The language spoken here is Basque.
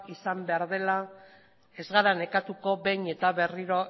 izan behar dela ez gara nekatuko behin eta berriro